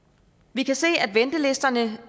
vi kan se at ventelisterne